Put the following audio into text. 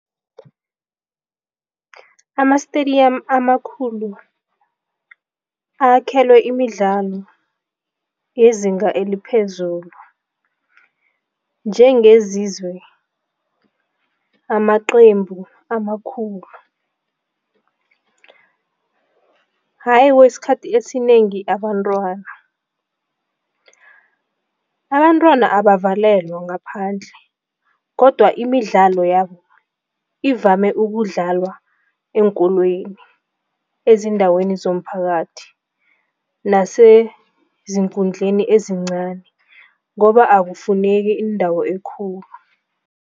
Ama-stadium amakhulu akhelwe imidlalo yezinga eliphezulu njengezizwe amaqembu amakhulu, kwesikhathi esinengi abantwana. Abantwana abavalelwa ngaphandle kodwa imidlalo yabo ivame ukudlalwa eenkolweni, ezindaweni zomphakathi naseziinkundleni ezincani ngoba akufuneki indawo ekhulu.